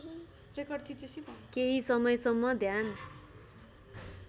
केही समयसम्म ध्यान